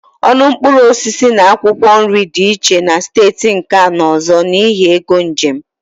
Ọnụ mkpụrụ osisi na akwụkwọ nri dị iche na steeti nke a na ọzọ n'ihi égo njem